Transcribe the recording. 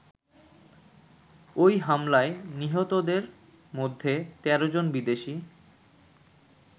ওই হামলায় নিহতদের মধ্যে ১৩ জন বিদেশী।